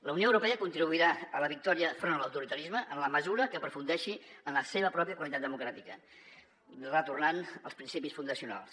la unió europea contribuirà a la victòria enfront de l’autoritarisme en la mesura que aprofundeixi en la seva pròpia qualitat democràtica retornant als prin·cipis fundacionals